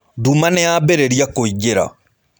Nduma nĩ yaambĩrĩria kũingĩra.